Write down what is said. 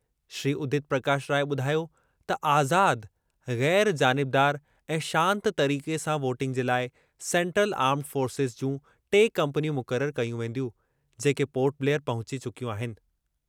श्री उदित प्रकाश राय ने ॿुधायो त आज़ाद, ग़ैर जानिबदारु ऐं शांत तरीक़े सां वोटिंग जे लाइ सेन्ट्रल आर्मड फ़ॉर्सेज़ जूं टे कंपनियूं मुक़रर कयूं वेंदियूं, जेके पोर्ट ब्लेयर पहुचे चुकियूं आहिनि।